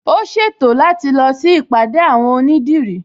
Ó ṣètò láti lọ sí ìpàdé àwon onídìrí